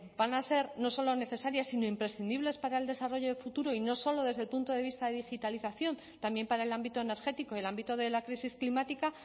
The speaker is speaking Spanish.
van a ser no solo necesarias sino imprescindibles para el desarrollo de futuro y no solo desde el punto de vista de digitalización también para el ámbito energético y el ámbito de la crisis climática